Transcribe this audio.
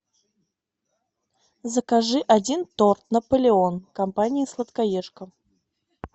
закажи один торт наполеон компании сладкоежка